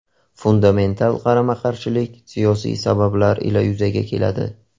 Fundamental qarama-qarshilik siyosiy sabablar ila yuzaga keladi.